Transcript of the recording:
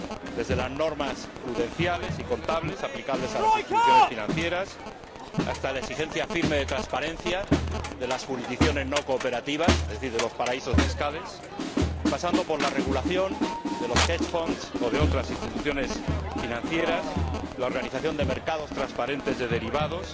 Desde las normas prudenciales y contables, aplicables a las instituciones financieras, hasta la exigencia firme de transparencia de las jurisdicciones no cooperativas, es decir de los paraísos fiscales, pasando por la regulación de los hedge funds o de otras instituciones financieras, la organización de mercados transparentes de derivados,